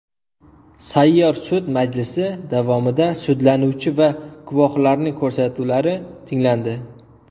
Sayyor sud majlisi davomida sudlanuvchi va guvohlarning ko‘rsatuvlari tinglandi.